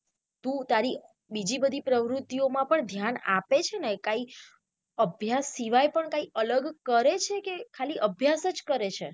તું તારી બીજી બધી પ્રવુતિઓ માં પણ ધ્યાન આપે છે ને કાઈ અભ્યાસ સિવાય પણ કાઈ અલગ કરે છે કે ખાલી અભ્યાસ કરે છે.